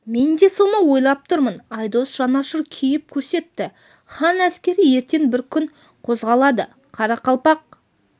мен де соны ойлап тұрмын айдос жанашыр кейіп көрсетті хан әскері ертең бір күн қозғалады қарақалпақ